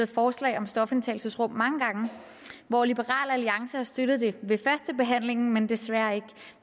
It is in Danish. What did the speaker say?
forslag om stofindtagelsesrum hvor liberal alliance har støttet det ved førstebehandlingen men desværre ikke